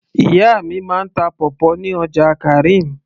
ìyá mi máa ń ta pawpaw ní ọjà karim